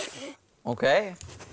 ókei